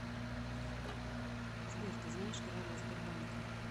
сбер ты знаешь короля сбербанка